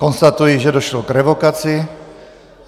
Konstatuji, že došlo k revokaci.